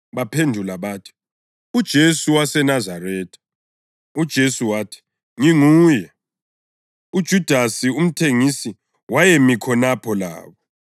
Baphendula bathi, “uJesu waseNazaretha.” UJesu wathi, “Nginguye.” (UJudasi, umthengisi wayemi khonapho labo.)